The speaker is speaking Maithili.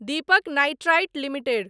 Deepak nitrite limited